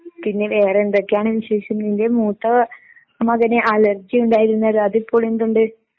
പിന്നെ വേറെ എന്തൊക്കെയാണ് വിശേഷം? നിൻ്റെ മൂത്ത മകന് അലർജിയുണ്ടായിരുന്നല്ലോ, അത് ഇപ്പൊ എന്തുണ്ട് ?